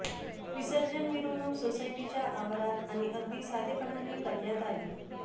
विसर्जन मिरवणूक सोसायटीच्या आवारात आणि अगदी साधेपणाने करण्यात आली